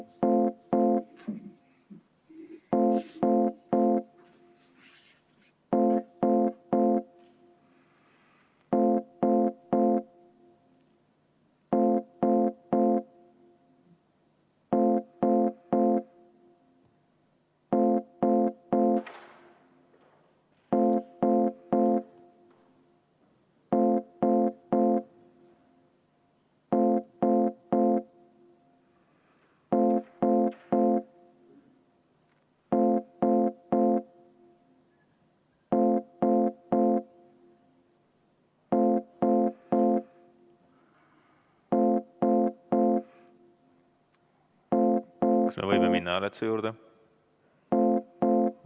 Kas me võime minna hääletuse juurde?